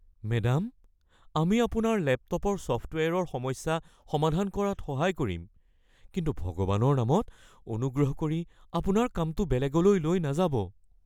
Madam, আমি আপোনাৰ লেপটপৰ ছফ্টৱেৰৰ সমস্যা সমাধান কৰাত সহায় কৰিম কিন্তু ভগৱানৰ নামত অনুগ্ৰহ কৰি আপোনাৰ কামটো বেলেগলৈ লৈ নাযাব। (কম্পিউটাৰ দোকানৰ গৰাকী)